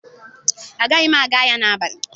Agaghị m aga ahịa n'abalị.